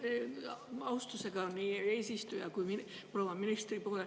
Pöördun siin austusega nii eesistuja kui proua ministri poole.